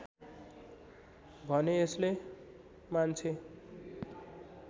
भने यसले मान्छे